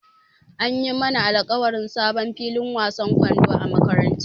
An yi mana alƙawarin sabon filin wasan kwando a makarantara.